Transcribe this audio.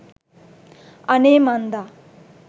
අනේ මන්දා